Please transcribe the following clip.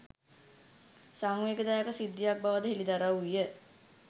සංවේගදායක සිද්ධියක් බවද හෙළිදරව් විය